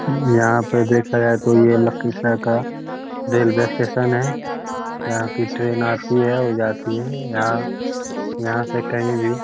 यहाँ पे देखा जाये तो ये लखीसराय का रेलवे स्टेशन है यहाँ की ट्रैन आती है और जाती है यहाँ यहाँ से कही भी --